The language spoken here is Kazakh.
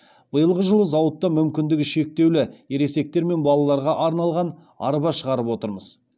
биылғы жылы зауытта мүмкіндігі шектеулі ересектер мен балаларға арналған арба шығарып отырмыз